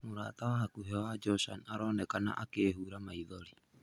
Mũrata wa hakuhĩ wa Joshan aronekana akĩĩhura maithori.